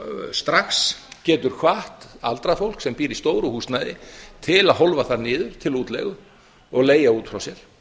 strax getur gott aldrað fólk sem býr í stóru húsnæði til að hólfa það niður til útleigu og leigja út frá sér